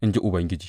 in ji Ubangiji.